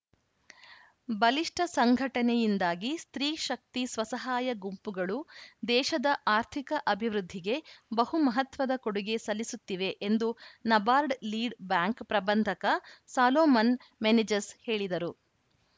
ಬಲಿಷ್ಟಸಂಘಟನೆಯಿಂದಾಗಿ ಸ್ತ್ರೀ ಶಕ್ತಿ ಸ್ವಸಹಾಯ ಗುಂಪುಗಳು ದೇಶದ ಆರ್ಥಿಕ ಅಭಿವೃದ್ಧಿಗೆ ಬಹು ಮಹತ್ವದ ಕೊಡುಗೆ ಸಲ್ಲಿಸುತ್ತಿವೆ ಎಂದು ನಬಾರ್ಡ್‌ ಲೀಡ್‌ ಬ್ಯಾಂಕ್‌ ಪ್ರಬಂಧಕ ಸಾಲೋಮನ್‌ ಮೆನೆಜಸ್‌ ಹೇಳಿದರು